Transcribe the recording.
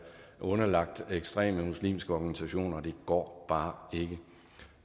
underlagt ekstreme muslimske organisationer og det går bare ikke